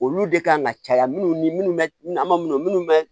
Olu de kan ka caya minnu ni minnu bɛ an ma minnu bɛ